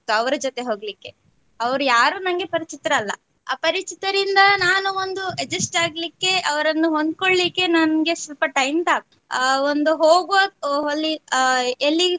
ಅವರ ಜೊತೆ ಹೊಗ್ಲಿಕೆ ಅವ್ರು ಯಾರು ನನಗೆ ಪರಚಿತರಲ್ಲ ಅಪರಿಚಿತರಿಂದ ನಾನು ಒಂದು adjust ಆಗ್ಲಿಕೆ ಅವರನ್ನು ಹೊಂದ್ಕೋಳಿಕೆ ನನ್ಗೆ ಸ್ವಲ್ಪ time ತಾಗಿತ್ತು ಆ ಒಂದು ಹೋಗುವ ಅಲ್ಲಿ ಎಲ್ಲಿ.